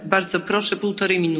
Frau Präsidentin!